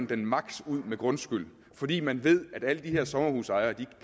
den maksimum ud med grundskyld fordi man ved at alle de her sommerhusejere